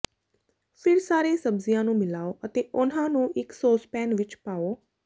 ਫਿਰ ਸਾਰੇ ਸਬਜ਼ੀਆਂ ਨੂੰ ਮਿਲਾਓ ਅਤੇ ਉਨ੍ਹਾਂ ਨੂੰ ਇਕ ਸੌਸਪੈਨ ਵਿਚ ਪਾਓ